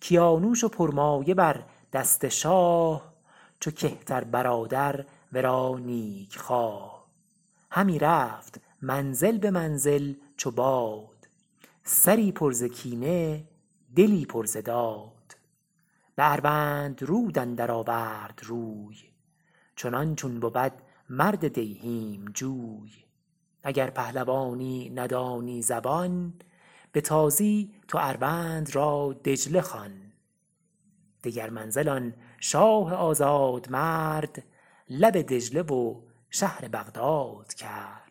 کیانوش و پرمایه بر دست شاه چو کهتر برادر ورا نیک خواه همی رفت منزل به منزل چو باد سری پر ز کینه دلی پر ز داد به اروندرود اندر آورد روی چنان چون بود مرد دیهیم جوی اگر پهلوانی ندانی زبان به تازی تو اروند را دجله خوان دگر منزل آن شاه آزادمرد لب دجله و شهر بغداد کرد